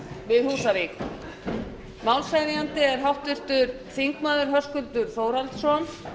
við húsavík málshefjandi er háttvirtur þingmaður höskuldur þórhallsson